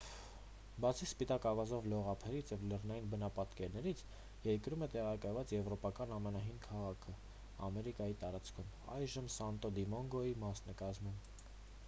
բացի սպիտակ ավազով լողափերից և լեռնային բնապատկերներից երկրում է տեղակայված եվրոպական ամենահին քաղաքն ամերիկայի տարածքներում այժմ սանտո դոմինգոյի մասն է կազմում